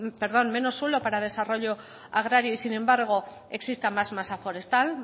perdón menos suelo para desarrollo agrario y sin embargo exista mas masa forestal